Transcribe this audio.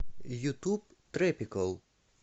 ютуб трэпикал